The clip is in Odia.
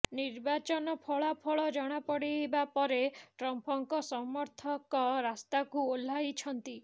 ନିର୍ବାଚନ ଫଳାଫଳ ଜଣାପଡ଼ିବା ପରେ ଟ୍ରମ୍ପଙ୍କ ସମର୍ଥକ ରାସ୍ତାକୁ ଓହ୍ଲାଇଛନ୍ତି